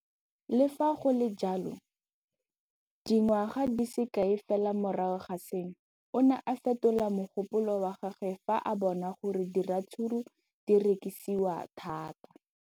Le fa go le jalo, dingwaga di se kae fela morago ga seno, o ne a fetola mogopolo wa gagwe fa a bona gore diratsuru di rekisiwa thata.